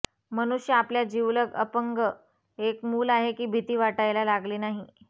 मनुष्य आपल्या जिवलग अपंग एक मूल आहे की भीती वाटायला लागली नाही